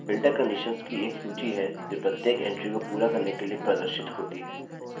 filter conditions की एक सूची है जो प्रत्येक entry को पूरा करने के लिए प्रदर्शित होती है